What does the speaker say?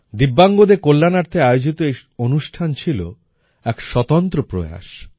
দিব্যাঙ্গদের কল্যাণার্থে আয়োজিত এই অনুষ্ঠান ছিল এক স্তন্ত্র প্রয়াস